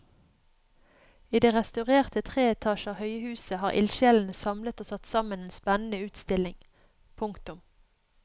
I det restaurerte tre etasjer høye museet har ildsjelene samlet og satt sammen en spennende utstilling. punktum